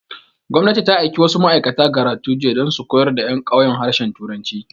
Gwamnati ta aiki wasu ma'aikata Garatu jiya dan su koyar da ƴan ƙauyen harshen turanci